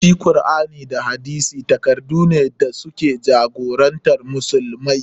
Shi Kur'ani da hadisi takaddune da su ke jagorantar musulmai.